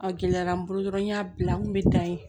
A gɛlɛyara n bolo dɔrɔn n y'a bila n kun mi tan yen